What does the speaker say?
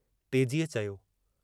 तेजीअ